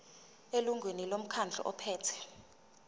elungwini lomkhandlu ophethe